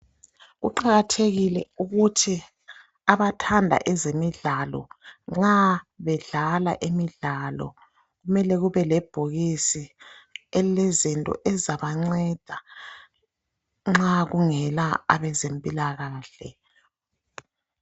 Kuqakathekile ukuthi abathanda ezemidlalo nxa bedlala imidlalo kumele kube lebhlkiso elile zinto ezizabanceda nxa kungela abezempilakahle.